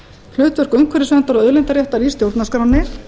hlutverk umhverfisnefndar og auðlindaréttar í stjórnarskránni